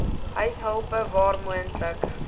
huishulpe waar moontlik